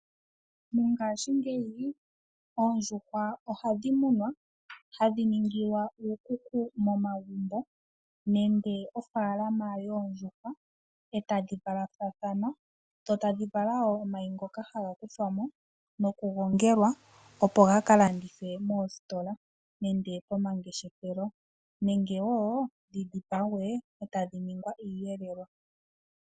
Mongaashingeyi oondjuhwa ohadhi munwa hadhi ningilwa iikuku momagumbo nenge ofaalama yoondjuhwa etadhi valathana, tadhi vala omayi ngoka taga kuthwamo noku gongelwa opo gaka landithwe moositola dhomangeshefelo nenge woo dhidhipagwe etashi ningi iiyelelwa.